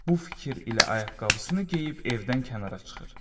Bu fikir ilə ayaqqabısını geyib evdən kənara çıxır.